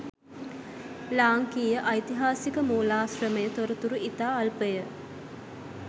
ලාංකීය ඓතිහාසික මූලාශ්‍රමය තොරතුරු ඉතා අල්පය.